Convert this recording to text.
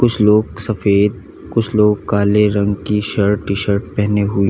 कुछ लोग सफेद कुछ लोग काले रंग की शर्ट टी शर्ट पहने हुई --